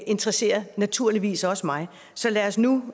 interesserer naturligvis også mig så lad os nu